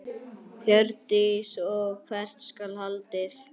Hjördís: Og hvert skal haldið?